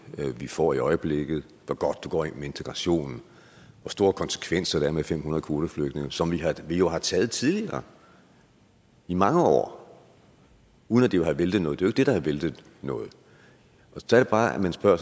vi får i øjeblikket hvor godt det går med integrationen hvor store konsekvenser det har med fem hundrede kvoteflygtninge som vi jo har taget tidligere i mange år uden at det har væltet noget det er det der har væltet noget så er det bare jeg spørger